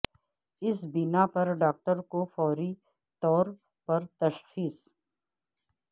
اس بنا پر ڈاکٹر کو فوری طور پر تشخیص